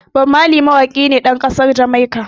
Bob Marley mawaƙi ne ɗan ƙasar Jamaica.